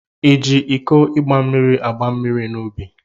Iji iko igba mmiri agba mmiri n'ubi?